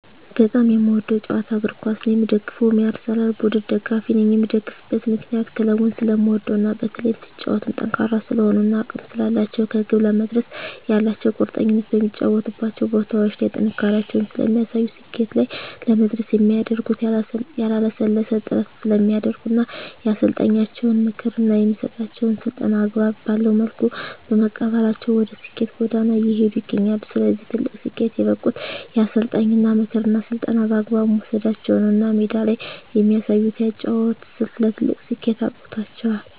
በጣም የምወደዉ ጨዋታ እግርኳስ ነዉ የምደግፈዉም የአርሰላን ቡድን ደጋፊ ነኝ የምደግፍበት ምክንያት ክለቡን ስለምወደዉ እና በተለይም ሲጫወቱም ጠንካራ ስለሆኑ እና አቅም ስላላቸዉ ከግብ ለመድረስ ያላቸዉ ቁርጠኝነት በሚጫወቱባቸዉ ቦታዎች ላይ ጥንካሬያቸውን ስለሚያሳዩ ስኬት ላይ ለመድረስ የሚያደርጉት ያላለሰለሰ ጥረት ስለሚያደርጉ እና የአሰልጣኛቸዉን ምክር እና የሚሰጣቸዉን ስልጠና አግባብ ባለዉ መልኩ በመቀበላቸዉ ወደ ስኬት ጎዳና እየሄዱ ይገኛሉ ለዚህ ትልቅ ስኬት የበቁት የአሰልጣኝን ምክርና ስልጠና በአግባቡ መዉሰዳቸዉ ነዉ እና ሜዳ ላይ የሚያሳዩት የአጨዋወት ስልት ለትልቅ ስኬት አብቅቷቸዋል